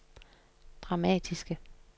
dramatiske